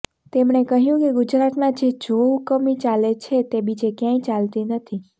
તેમણે કહ્યું કે ગુજરાતમાં જે જોહુકમી ચાલે છે તે બીજે ક્યાંય ચાલતી નથી